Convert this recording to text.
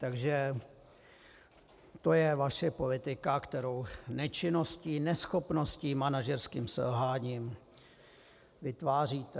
Takže to je vaše politika, kterou nečinností, neschopností, manažerským selháním vytváříte.